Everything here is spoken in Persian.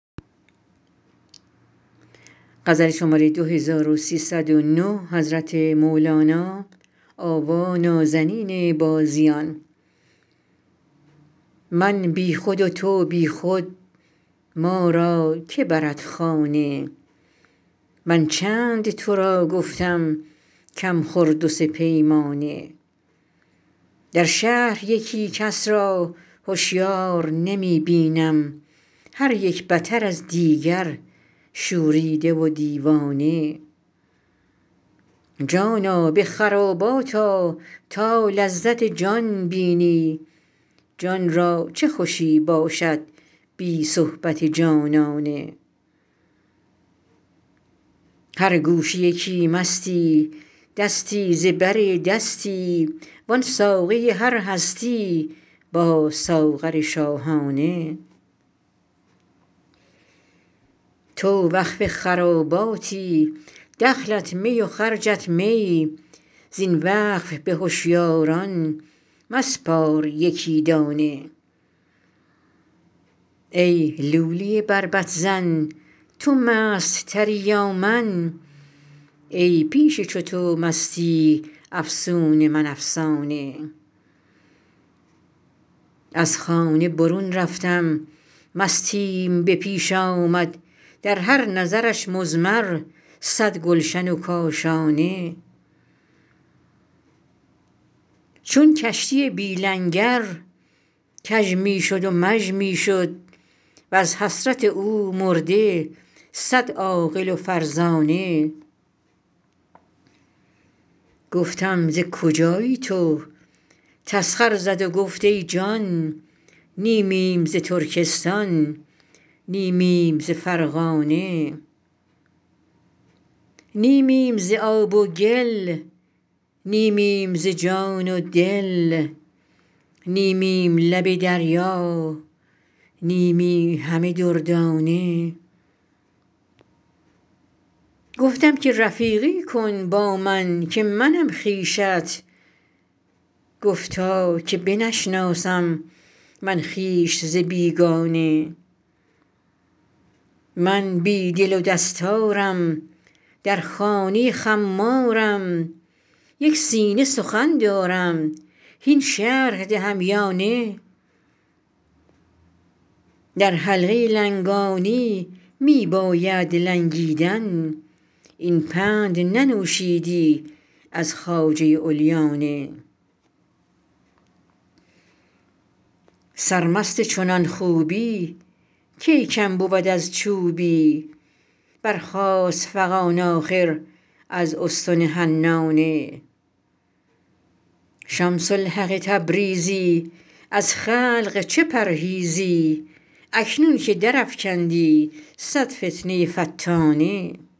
من بی خود و تو بی خود ما را که برد خانه من چند تو را گفتم کم خور دو سه پیمانه در شهر یکی کس را هشیار نمی بینم هر یک بتر از دیگر شوریده و دیوانه جانا به خرابات آ تا لذت جان بینی جان را چه خوشی باشد بی صحبت جانانه هر گوشه یکی مستی دستی ز بر دستی وان ساقی هر هستی با ساغر شاهانه تو وقف خراباتی دخلت می و خرجت می زین وقف به هشیاران مسپار یکی دانه ای لولی بربط زن تو مست تری یا من ای پیش چو تو مستی افسون من افسانه از خانه برون رفتم مستیم به پیش آمد در هر نظرش مضمر صد گلشن و کاشانه چون کشتی بی لنگر کژ می شد و مژ می شد وز حسرت او مرده صد عاقل و فرزانه گفتم ز کجایی تو تسخر زد و گفت ای جان نیمیم ز ترکستان نیمیم ز فرغانه نیمیم ز آب و گل نیمیم ز جان و دل نیمیم لب دریا نیمی همه دردانه گفتم که رفیقی کن با من که منم خویشت گفتا که بنشناسم من خویش ز بیگانه من بی دل و دستارم در خانه خمارم یک سینه سخن دارم هین شرح دهم یا نه در حلقه لنگانی می بایدت لنگیدن این پند ننوشیدی از خواجه علیانه سرمست چنان خوبی کی کم بود از چوبی برخاست فغان آخر از استن حنانه شمس الحق تبریزی از خلق چه پرهیزی اکنون که درافکندی صد فتنه فتانه